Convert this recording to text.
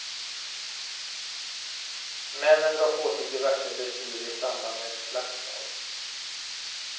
Männen drar på sig diverse blessyrer i samband med slagsmål.